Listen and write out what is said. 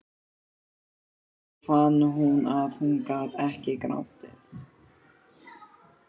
Svo fann hún að hún gat ekki grátið.